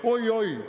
Oi-oi!